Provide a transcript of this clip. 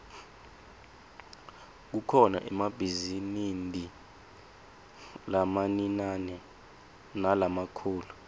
kukhona emabhizinidi lamaniane nalamakhulu